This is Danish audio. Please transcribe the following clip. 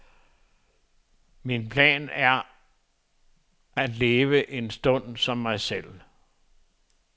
Min plan er at leve en stund som mig selv.